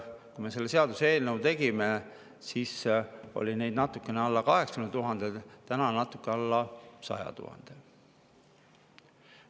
Kui me selle seaduseelnõu tegime, siis oli neid natukene alla 80 000, täna on natuke alla 100 000.